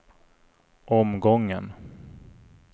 omgången